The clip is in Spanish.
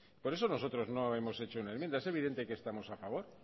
por eso nosotros no hemos hecho una enmienda es evidente que estamos a favor